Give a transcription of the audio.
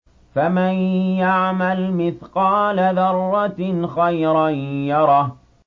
فَمَن يَعْمَلْ مِثْقَالَ ذَرَّةٍ خَيْرًا يَرَهُ